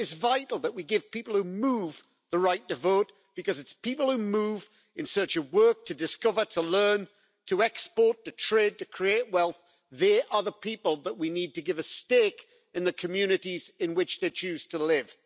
It is vital that we give people who move the right to vote, because it's people who move in search of work, to discover, to learn, to export, to trade or to create wealth who are the people to whom we need to give a stake in the communities in which they choose to live.